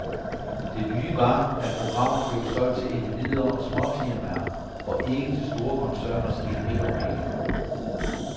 Det nye var, at programmer blev solgt til individer og småfirmaer og ikke til store koncerners edbafdelinger.